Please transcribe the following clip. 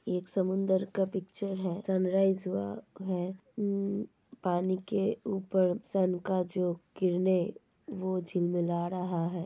एक समुन्दर का पिक्चर है सनरायज हुआ है पानी के ऊपर सन का जो किरणे वो झिल मिला रहा है।